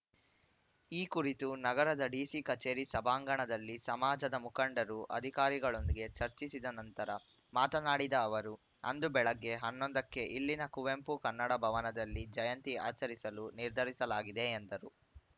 ಈ ಕುರಿತು ನಗರದ ಡಿಸಿ ಕಚೇರಿ ಸಭಾಂಗಣದಲ್ಲಿ ಸಮಾಜದ ಮುಖಂಡರು ಅಧಿಕಾರಿಗಳೊಂದಿಗೆ ಚರ್ಚಿಸಿದ ನಂತರ ಮಾತನಾಡಿದ ಅವರು ಅಂದು ಬೆಳಗ್ಗೆ ಹನ್ನೊಂದಕ್ಕೆ ಇಲ್ಲಿನ ಕುವೆಂಪು ಕನ್ನಡ ಭವನದಲ್ಲಿ ಜಯಂತಿ ಆಚರಿಸಲು ನಿರ್ಧರಿಸಲಾಗಿದೆ ಎಂದರು